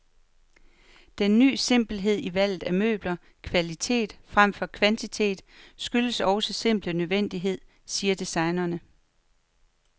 Den ny simpelhed i valget af møbler, kvalitet fremfor kvantitet, skyldes også simpel nødvendighed, siger designerne.